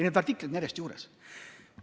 Neid artikleid on järjest juurde tulnud.